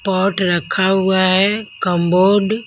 pot रखा हुआ हैकम्बोर्ड --